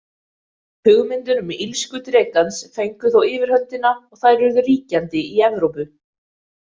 Hugmyndir um illsku drekans fengu þó yfirhöndina og þær urðu ríkjandi í Evrópu.